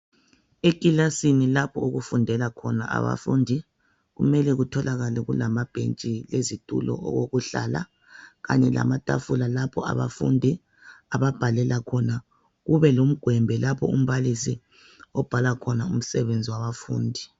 Ekilasini lapho okufundela khona abafundi kumele kutholakale kulamabhentshi lezitulo okokuhlala kanye lamatafula lapho abafundi ababhalela khona kube lomgwembe lapho umbalisi obhala khona umsebenzi wabafundi.